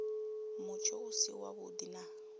mutsho u si wavhuḓi na